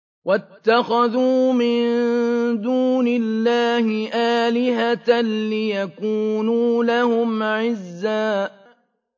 وَاتَّخَذُوا مِن دُونِ اللَّهِ آلِهَةً لِّيَكُونُوا لَهُمْ عِزًّا